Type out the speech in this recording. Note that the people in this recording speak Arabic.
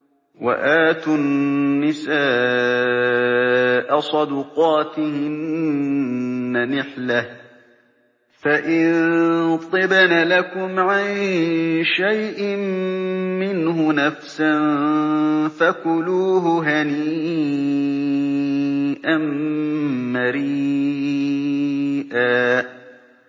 وَآتُوا النِّسَاءَ صَدُقَاتِهِنَّ نِحْلَةً ۚ فَإِن طِبْنَ لَكُمْ عَن شَيْءٍ مِّنْهُ نَفْسًا فَكُلُوهُ هَنِيئًا مَّرِيئًا